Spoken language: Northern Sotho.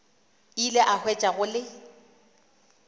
ile a hwetša go le